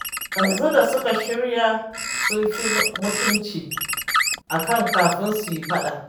Yanzu da suka shirya sun fi mutunci a kan kafin su yi faɗa